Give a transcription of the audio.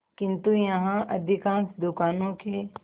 किंतु यहाँ अधिकांश दुकानों के